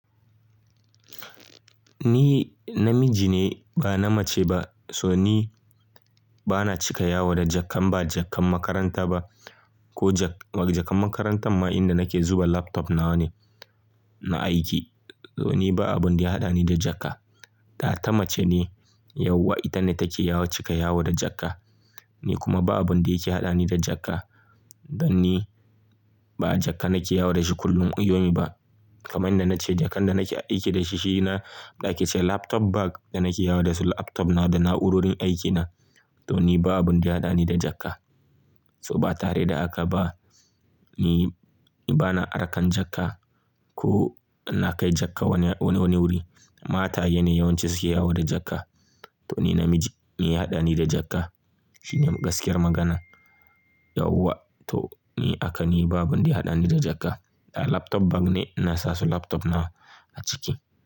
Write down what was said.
Ni namiji ne ba na mace ba. So ni bana cika yawo da jakkan ba jakkan makaranta ba ko jak-- jakkan makarantan ma inda nake zuba laptop nawa ne, na aiki. To ni ba abun da ya haɗa ni da jaka. Data mace ne, yauwa ita ne take cika yawo da jakka. Ni kuma ba abun da yake haɗa ni da jaka. Dan ni ba jaka nake yawo da shi kullum iyonmi ba. Kaman da nace jakkan da nake aiki da shi shi na ɗa ake ce laptop bag da nake yawo da shi laptop na da na'urorin aikina. To ni babu abun da ya haɗa ni da jaka. So ba tare da haka ba, ni, ni bana arkan jaka ko ina kai jaka wani, wani wuri. Mataye ne yawanci suke yawo da jakka. To ni namiji, me ya haɗa ni da jaka? Shine gaskiyar magana. Yauwa to ni haka ni babu abin da ya haɗa ni da jaka. Laptop bag ne ina sasu laptop na a ciki.